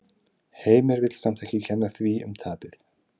Heimir vill samt ekki kenna því um tapið.